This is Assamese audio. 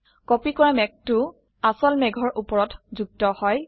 কপি কৰা মেঘটো আসল মেঘৰ উপৰত যুক্ত হয়